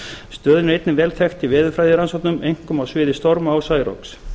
stöðin er einnig vel þekkt í veðurfræðirannsóknum einkum á sviði storma og særoks